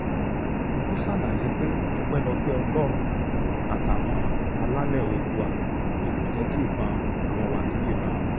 ó ṣàlàyé pé ọpẹ́lọpẹ́ ọlọ́run àtàwọn alálẹ̀ oòdùà ni kò jẹ́ kí ìbọn àwọn wákilì ran àwọn